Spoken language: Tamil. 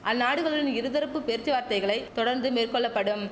அந்நாடுகளுன் இருதரப்பு பேர்ச்சுவார்த்தைகளை தொடர்ந்து மேற்கொள்ள படும்